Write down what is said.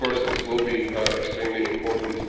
Of course this will be extremely important.